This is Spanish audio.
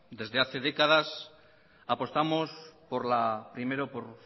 desde hace décadas apostamos primero por